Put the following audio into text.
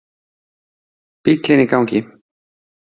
Bíllinn í gangi.